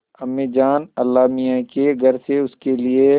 अम्मीजान अल्लाहमियाँ के घर से उसके लिए